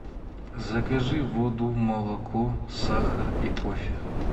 закажи воду молоко сахар и кофе